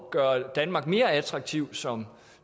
at gøre danmark mere attraktiv som